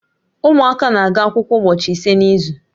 Ụmụaka na-aga akwụkwọ ụbọchị ise n'izu